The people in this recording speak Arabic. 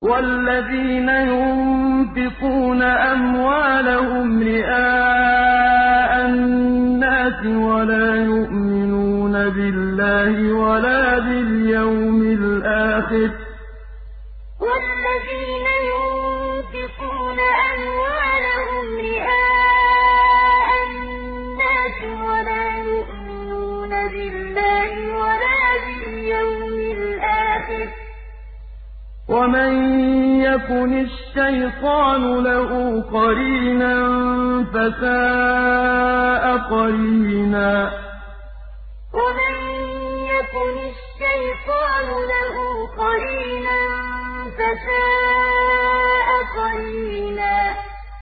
وَالَّذِينَ يُنفِقُونَ أَمْوَالَهُمْ رِئَاءَ النَّاسِ وَلَا يُؤْمِنُونَ بِاللَّهِ وَلَا بِالْيَوْمِ الْآخِرِ ۗ وَمَن يَكُنِ الشَّيْطَانُ لَهُ قَرِينًا فَسَاءَ قَرِينًا وَالَّذِينَ يُنفِقُونَ أَمْوَالَهُمْ رِئَاءَ النَّاسِ وَلَا يُؤْمِنُونَ بِاللَّهِ وَلَا بِالْيَوْمِ الْآخِرِ ۗ وَمَن يَكُنِ الشَّيْطَانُ لَهُ قَرِينًا فَسَاءَ قَرِينًا